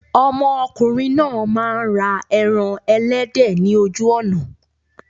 Ọmọkùnrin náà máa ń ra ẹran ẹlẹ́dẹ̀ ni ojú ọ̀nà.